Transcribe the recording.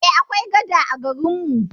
Eh, akwai gada a garin mu.